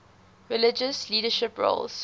religious leadership roles